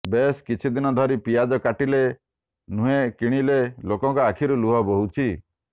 ବେଶ୍ କିଛି ଦିନ ଧରି ପିଆଜ କାଟିଲେ ନୁହେଁ କିଣିଲେ ଲୋକଙ୍କ ଆଖିରୁ ଲୁହ ବୋହୁଛି